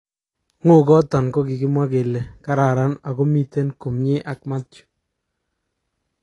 ngo'goton kokikimwa kele kararan ako miten komie ak Mathew.